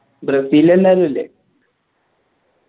Brazil എല്ലാവരു ഇല്ലേ